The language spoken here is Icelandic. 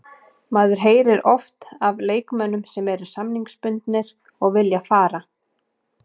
Maður heyrir oft af leikmönnum sem eru samningsbundnir og vilja fara.